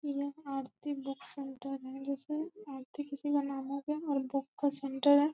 यह Aarti book centre है जैसे आरती किसी का नाम हो गया और बुक का सेण्टर है।